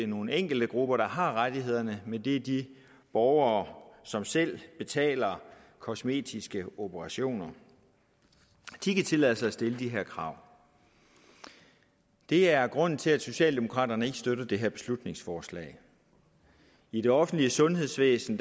nogle enkelte grupper der har rettighederne men det er de borgere som selv betaler kosmetiske operationer de kan tillade sig at stille de her krav det er grunden til at socialdemokraterne ikke støtter det her beslutningsforslag i det offentlige sundhedsvæsen